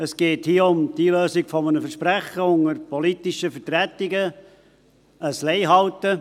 Es geht hier um das Einlösen eines Versprechens unter politischen Vertretungen, um ein Leihalten.